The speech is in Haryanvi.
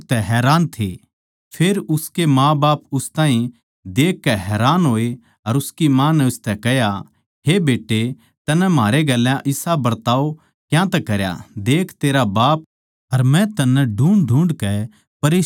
फेर उसके माँबाप उस ताहीं देखकै हैरान होए अर उसकी माँ नै उसतै कह्या हे बेट्टे तन्नै म्हारै गेल्या इसा बिवार क्यातै करया देख तेरा बाप अर मै तन्नै ढूँढ़ढूँढ़के परेशान होरे थे